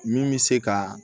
Min bɛ se ka